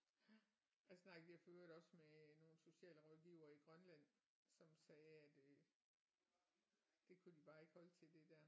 Ja jeg snakkede lige for øvrigt også med nogle socialrådgivere i Grønland som sagde at øh det kunne de bare ikke holde til det der